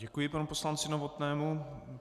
Děkuji panu poslanci Novotnému.